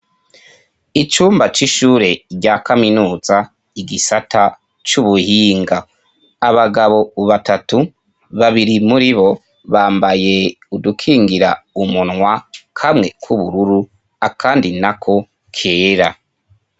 Icumba c'ishure rya kaminuza, igisata c'ubuhinga. Abagabo batatu, babiri muribo bambaye udukingira umunwa, kamwe k'ubururu, akandi nako kera.